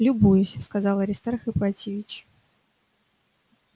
любуюсь сказал аристарх ипатьевич